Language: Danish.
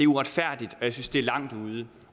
uretfærdigt jeg synes det er langt ude